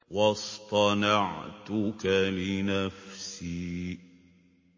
وَاصْطَنَعْتُكَ لِنَفْسِي